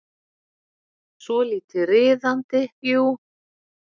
Svolítið riðandi, jú.